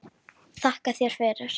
Þakka þér fyrir